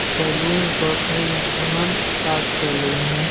Salon shop है जिसका नाम ताज सैलून है।